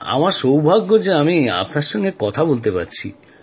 আমার সৌভাগ্য যে আপনার সাথে কথা বলতে পারছি